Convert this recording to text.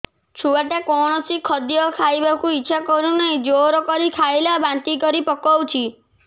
ଛୁଆ ଟା କୌଣସି ଖଦୀୟ ଖାଇବାକୁ ଈଛା କରୁନାହିଁ ଜୋର କରି ଖାଇଲା ବାନ୍ତି କରି ପକଉଛି